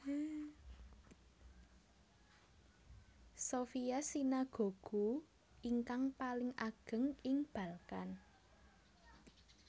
Sofia Synagogue ingkang paling ageng ing Balkan